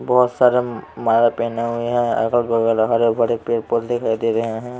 बहुत सारा माला पहने हुए हैं अगल बगल हरे भरे पेड़ दिखाई दे रहे हैं।